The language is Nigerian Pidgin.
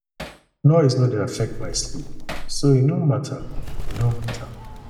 noise no dey affect my sleep so e no mata e no mata